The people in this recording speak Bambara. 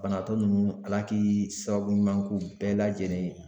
Banabaatɔ ninnu Ala ki sababu ɲuman k'u bɛɛ lajɛlen ye